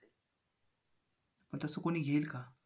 मग तसं कोणी घेईल का?